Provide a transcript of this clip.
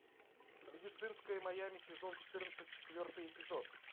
медицинское майами сезон четырнадцать четвертый эпизод